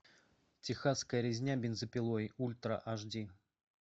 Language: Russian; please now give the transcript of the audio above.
техасская резня бензопилой ультра аш ди